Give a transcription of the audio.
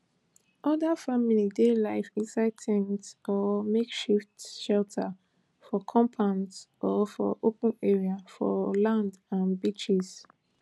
oda families dey live inside ten ts or makeshift shelters for compounds or for open areas for land and beaches